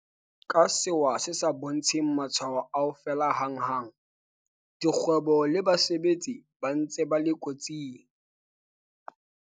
Ka sewa se sa bontsheng matshwao a ho fela hanghang, dikgwebo le basebetsi ba ntse ba le kotsing.